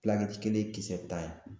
kelen kisɛ tan ye